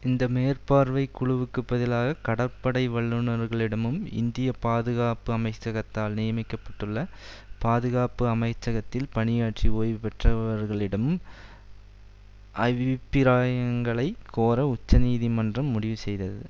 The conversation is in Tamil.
இந்த மேற்பார்வை குழுவுக்கு பதிலாக கடற்படை வல்லுநர்களிடமும் இந்திய பாதுகாப்பு அமைச்சகத்தால் நியமிக்கப்பட்டுள்ள பாதுகாப்பு அமைச்சகத்தில் பணியாற்றி ஓய்வு பெற்றவர்களிடமும் அவிப்பிராயங்களைக் கோர உச்ச நீதி மன்றம் முடிவு செய்தது